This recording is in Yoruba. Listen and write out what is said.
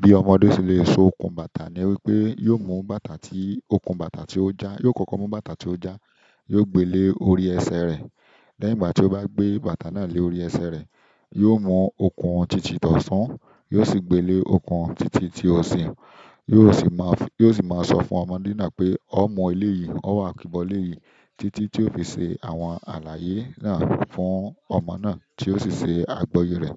Bí ọmọdé ṣe le so okùn bàtà ni wípé yóò mú bàtà tí okùn bàtà tí ó já, yóò kọ́kọ́ mú bàtà tí ó já, yóò gbé lé orí ẹsẹ̀ rẹ̀. Lẹ́yìn ìgbà tí ó bá gbé bàtà náà lé orí ẹsẹ̀ rẹ̀, yóò mú okùn títì ti ọ̀tún, yóò sì gbé lé okùn títì tí òsì, yóò sì máa, yóò sì máa sọ fún ọmọdé náà pé "ọ́ mú eléyìí, ọ́ wà kíbọ̀ lé yìí." Títí tí ó fi ṣe àwọn àlàyé náà fún ọmọ náà tí ó sì ṣe àgbọ́yé rẹ̀.